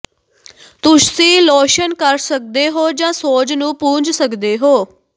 ਤੁਸੀਂ ਲੋਸ਼ਨ ਕਰ ਸਕਦੇ ਹੋ ਜਾਂ ਸੋਜ ਨੂੰ ਪੂੰਝ ਸਕਦੇ ਹੋ